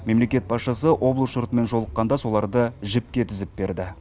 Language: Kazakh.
мемлекет басшысы облыс жұртымен жолыққанда соларды жіпке тізіп берді